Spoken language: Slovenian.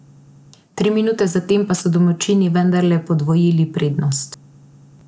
Tri minute zatem pa so domači vendarle podvojili prednost.